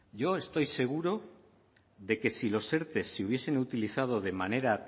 yo estoy seguro de que si los erte se hubiesen utilizado de manera